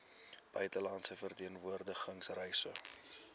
buitelandse verteenwoordiging reise